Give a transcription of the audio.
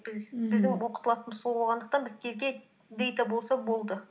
біз мхм біздің оқытылатынымыз сол болғандықтан біздерге дэйта болса болды